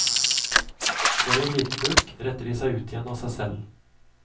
Får de en liten bulk, retter de seg ut igjen av seg selv.